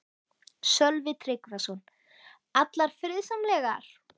Sölvi Tryggvason: Allar friðsamlegar?